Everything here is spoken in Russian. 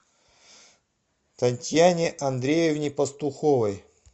татьяне андреевне пастуховой